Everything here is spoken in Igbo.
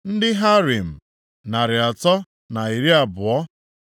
ndị Harim, narị atọ na iri abụọ (320),